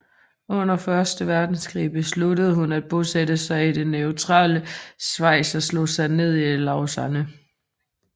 Under Første Verdenskrig besluttede hun at bosætte sig i det neutrale Schweiz og slog sig ned i Lausanne